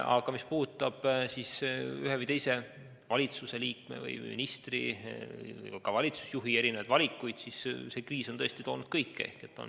Aga mis puudutab ühe või teise valitsusliikme või ministri, ka valitsusjuhi valikuid, on see kriis tõesti toonud kaasa kõike.